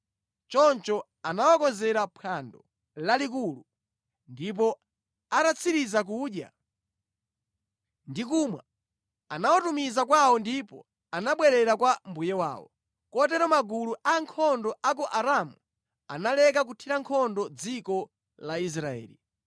Choncho anawakonzera mphwando lalikulu, ndipo atatsiriza kudya ndi kumwa, anawatumiza kwawo ndipo anabwerera kwa mbuye wawo. Kotero magulu a ankhondo a ku Aramu analeka kuthira nkhondo dziko la Israeli.